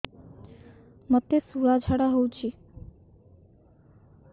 ମୋତେ ଶୂଳା ଝାଡ଼ା ହଉଚି